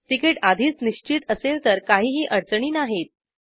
ticket आधीच निश्चित असेल तर काहीही अडचणी नाहीत